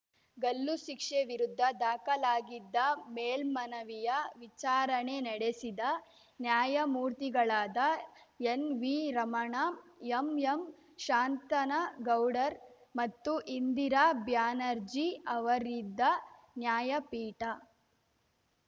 ಗಲ್ಲು ಶಿಕ್ಷೆ ವಿರುದ್ಧ ದಾಖಲಾಗಿದ್ದ ಮೇಲ್ಮನವಿಯ ವಿಚಾರಣೆ ನಡೆಸಿದ ನ್ಯಾಯಮೂರ್ತಿಗಳಾದ ಎನ್ವಿ ರಮಣ ಎಂಎಂ ಶಾಂತನಗೌಡರ್ ಮತ್ತು ಇಂದಿರಾ ಬ್ಯಾನರ್ಜಿ ಅವರಿದ್ದ ನ್ಯಾಯಪೀಠ